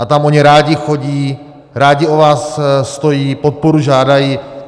A tam oni rádi chodí, rádi o vás stojí, podporu žádají.